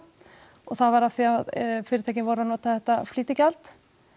og það var af því að fyrirtækin voru að nota þetta flýtigjald